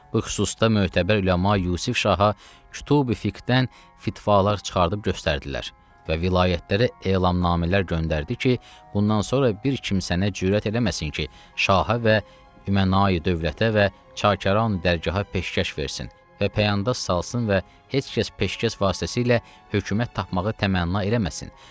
Bu xüsusda mötəbər üləma Yusif Şaha, kütübu fiqdən, fitvalar çıxardıb göstərdilər və vilayətlərə elannamələr göndərdi ki, bundan sonra bir kimsənə cürət eləməsin ki, şahə və üməna dövlətə və çakaran dərgahə peşkəş versin və pəyanda salsın və heç kəs peşkəş vasitəsilə hökumət tapmağı təmənna eləməsin.